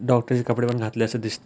doctor ची कपडेपण घातले अस दिस--